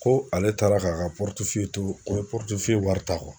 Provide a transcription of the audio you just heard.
Ko ale taara k'a ka to ko wari ta kɔnɔ